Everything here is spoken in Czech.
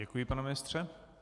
Děkuji, pane ministře.